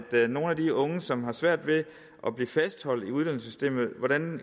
med nogle af de unge som har svært ved at blive fastholdt i uddannelsessystemet